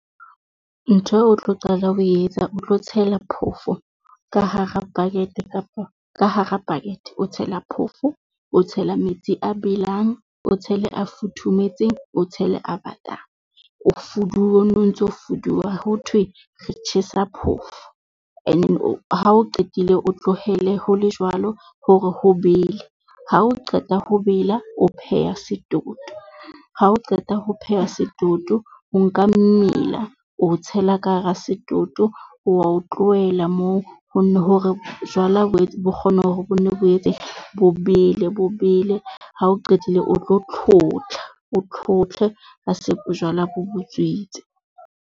Ntho eo o tlo qala ho etsa, o tlo tshela phoofo ka hara bucket kapa ka hara bucket, o tshela phoofo, o tshela metsi a belang, o tshele a futhumetseng, o tshele a batang, o fuduwe o no ntso fuduwa. Ho thwe re tjhesa phoofo ene ha o qetile o tlohele ho le jwalo hore ho bele ha o qeta ho bela o pheha setoto. Ha o qeta ho pheha setoto, o nka mmila oo tshela ka hara setoto, o wa o tlohela moo ho ne hore jwala bo nne bo kgone hore o etse bo bele bo bele. Ha o qetile o tlo tlhotlha, o tlhotlhe ha se bojwala bo butswitse.